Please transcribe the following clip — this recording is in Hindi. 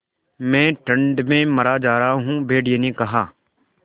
मैं ठंड में मरा जा रहा हूँ भेड़िये ने कहा